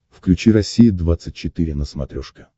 включи россия двадцать четыре на смотрешке